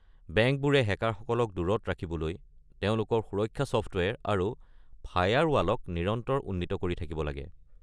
বেংকবোৰে হেকাৰসকলক দূৰত ৰাখিবলৈ তেওঁলোকৰ সুৰক্ষা ছফ্টৱেৰ আৰু ফায়াৰৱালক নিৰন্তৰ উন্নীত কৰি থাকিব লাগে।